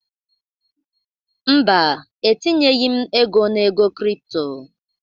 Mba, etinyeghị m ego na ego crypto